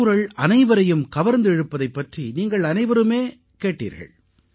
திருக்குறள் அனைவரையும் கவர்ந்திருப்பதைப் பற்றி நீங்கள் அனைவருமே கேட்டீர்கள்